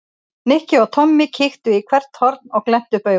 Nikki og Tommi kíktu í hvert horn og glenntu upp augun.